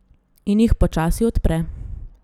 In jih počasi odpre.